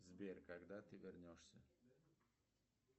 сбер когда ты вернешься